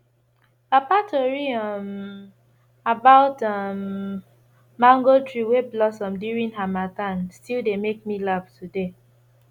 papa tori um about um mango tree wey blossom during harmattan still dey make me laugh today